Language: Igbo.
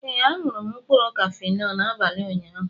Ee, añụrụ m mkpụrụ Kafenọ n'abalị ụnyaahụ